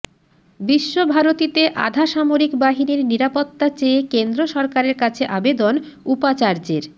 বিশ্বভারতীতে আধা সামরিক বাহিনীর নিরাপত্তা চেয়ে কেন্দ্র সরকারের কাছে আবেদন উপাচার্যের